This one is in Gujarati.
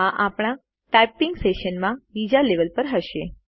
આ આપણા ટાઈપીંગ સેશનમાં બીજા લેવલ પર હશે